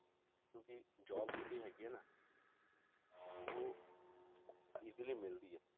ਕਿਉਂਕਿ job ਜਿਹੜੀ ਹੈਗੀ ਆ ਨਾ ਉਹ easily ਮਿਲਦੀ ਆ,